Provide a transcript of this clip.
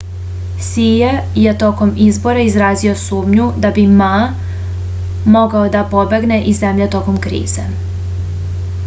sije je tokom izbora izrazio sumnju da bi ma mogao da pobegne iz zemlje tokom krize